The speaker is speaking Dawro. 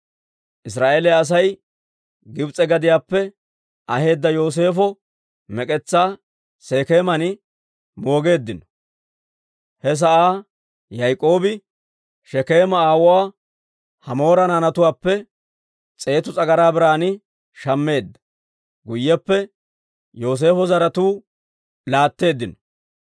Israa'eeliyaa Asay Gibs'e gadiyaappe aheedda Yooseefo mek'etsaa Sekeeman moogeeddino. He sa'aa Yaak'oobi Shekeema aawuwaa Hamoora naanatuwaappe s'eetu s'agaraa biran shammeedda; guyyeppe Yooseefo zaratuu laatteeddino.